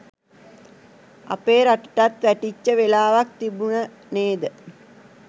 අපේ රටටත් වැටිච්ච වෙලාවක් තිබුණ නේද?